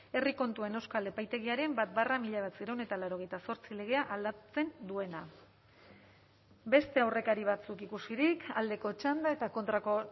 herri kontuen euskal epaitegiaren bat barra mila bederatziehun eta laurogeita zortzi legea aldatzen duena beste aurrekari batzuk ikusirik aldeko txanda eta kontrako